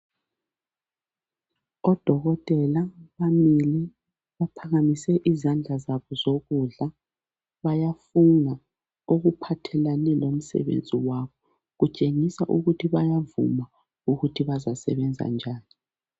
Odokotela bamile baphakamise izandla zabo zokudla bayafunga okuphathelane lomsebenzi wabo kutshengisa ukuthi bayavuma ukuthi bazasebenza njani